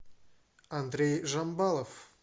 андрей жамбалов